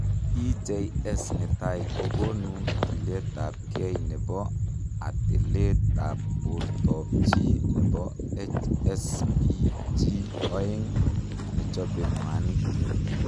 SJS netai kokonuu tileet ap kei nepoo ateleet ap bortoop chii nepo HSPG oeng nechopee mwanik